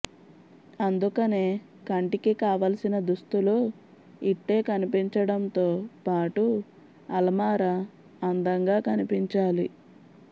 అందుకనే కంటికి కావలసిన దుస్తులు ఇట్టే కనిపించడంతో పాటు అలమార అందంగా కనిపించాలి